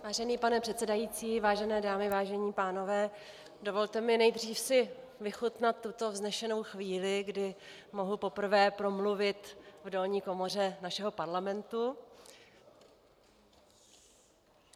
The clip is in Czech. Vážený pane předsedající, vážené dámy, vážení pánové, dovolte mi nejdřív si vychutnat tuto vznešenou chvíli, kdy mohu poprvé promluvit v dolní komoře našeho Parlamentu.